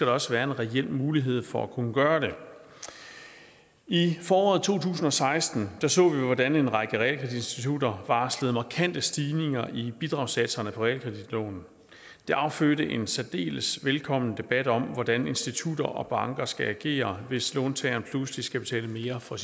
også være en reel mulighed for at kunne gøre det i foråret to tusind og seksten så vi hvordan en række realkreditinstitutter varslede markante stigninger i bidragssatserne på realkreditlånene det affødte en særdeles velkommen debat om hvordan institutter og banker skal agere hvis låntagerne pludselig skal betale mere for